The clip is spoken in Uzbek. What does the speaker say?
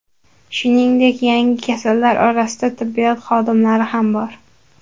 Shuningdek, yangi kasallar orasida tibbiyot xodimlari ham bor.